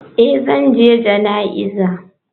Eh zan je jana'iza.